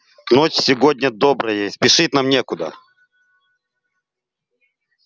ночь сегодня добрая и спешить нам некуда